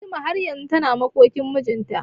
Fatima har yanzu tana makokin mijinta.